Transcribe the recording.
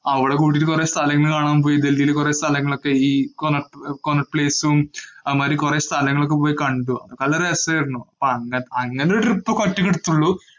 അവള് കൂടിട്ട് കൊറേ സ്ഥലങ്ങള് കാണാന്‍ പോയി ഡല്‍ഹിയില് കൊറേ സ്ഥലങ്ങളൊക്കെ ഈ ആ മാതിരി കൊറേ സ്ഥലങ്ങള് പോയി കണ്ടു. നല്ല രസാരുന്നു. അങ്ങനെ ഒരു